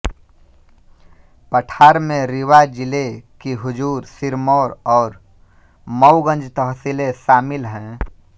पठार में रीवा जिले की हुजूर सिरमौर और मऊगंज तहसीलें शामिल हैं